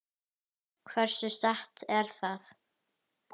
Hversu satt er það?